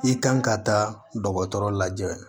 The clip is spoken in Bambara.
I kan ka taa dɔgɔtɔrɔ lajɛ